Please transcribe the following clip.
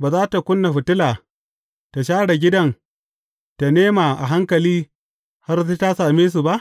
ba za tă ƙuna fitila, ta share gidan, ta nema a hankali, har sai ta samu ba?